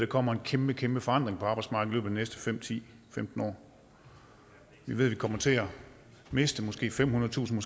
kommer en kæmpe kæmpe forandring på arbejdsmarkedet i næste fem ti femten år vi ved at vi kommer til at miste måske femhundredetusind